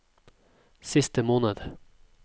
siste måned